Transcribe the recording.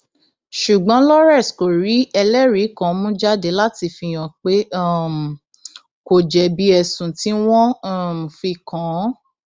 ṣùgbọn lawrence kò rí ẹlẹrìí kan mú jáde láti fihàn pé um kò jẹbi ẹsùn tí wọn um fi kàn án